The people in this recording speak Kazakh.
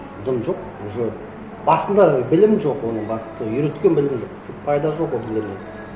дым жоқ уже басында білім жоқ оның басында үйреткен білім жоқ пайда жоқ ол нелерден